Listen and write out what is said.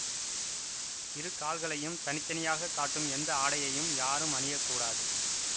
இரு கால்களையும் தனித்தனியாகக் காட்டும் எந்த ஆடையையும் யாரும் அணிய கூடாது